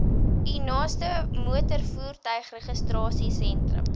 u naaste motorvoertuigregistrasiesentrum